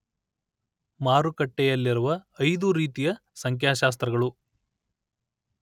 ಮಾರುಕಟ್ಟೆಯಲ್ಲಿರುವ ಐದು ರೀತಿಯ ಸಂಖ್ಯಾಶಾಸ್ತ್ರಗಳು